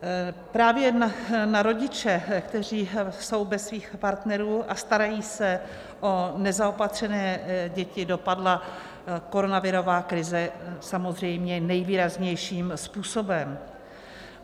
Právě na rodiče, kteří jsou bez svých partnerů a starají se o nezaopatřené děti, dopadla koronavirová krize samozřejmě nejvýraznějším způsobem.